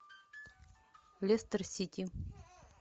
лестер сити